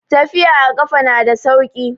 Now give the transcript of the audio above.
Tafiya a kafa na da sauki.